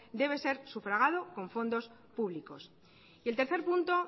debe ser sufragado con fondos públicos y el tercer punto